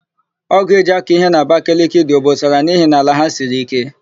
Ọ́gụ̀ e ji akọ íhé n'Abakeleke dị obosara n'ihi na ala ha siri íké.